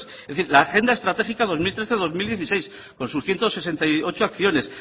es decir la agenda estratégica dos mil trece dos mil dieciséis con sus ciento sesenta y ocho acciones